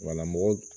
Wala mɔgɔ